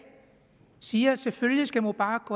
siger selvfølgelig skal mubarak